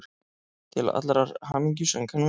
Til allrar hamingju söng hann vel!